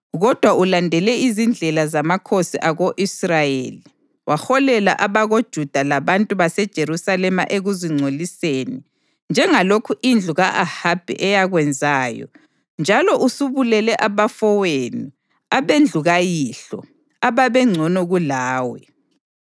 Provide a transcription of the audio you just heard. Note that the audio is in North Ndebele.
Kodwa ulandele izindlela zamakhosi ako-Israyeli, waholela abakoJuda labantu baseJerusalema ekuzingcoliseni njengalokhu indlu ka-Ahabi eyakwenzayo njalo usubulele abafowenu abendlu kayihlo ababengcono kulawe.